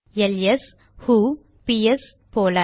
LS ஹு பிஎஸ்ps போல